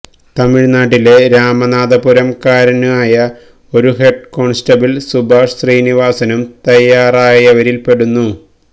തമിഴ്നാട്ടിലെ രാമനാഥപുരം കാരനായ ഒരു ഹെഡ് കോണ്സ്റ്റബിള് സുഭാഷ് ശ്രീനിവാസനും തയ്യാറായവരില് പെടുന്നു